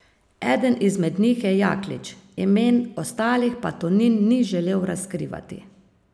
Eden izmed njih je Jaklič, imen ostalih pa Tonin ni želel razkrivati.